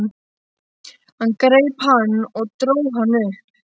Hann greip hann og dró hann upp.